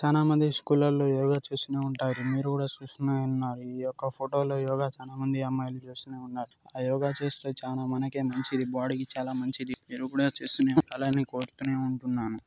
చానా మంది స్కూళ్ళలో యోగ చూస్తూనే ఉంటారు . మీరు కూడా చూస్తూనే ఉన్నారు. ఈ యొక్క ఫోటో లో యోగ చానా మంది అమ్మైలు చేస్తూనే ఉన్నారు .ఆ యోగ చేస్తే చానా మనకే మంచిది. బోడి కి చాలా మంచిది మీరు కూడా చేస్తూనే అలానే కోరుకొని ఉంటున్నాను.